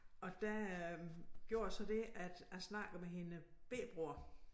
Og der øh gjorde jeg så det at jeg snakkede med hendes bette bror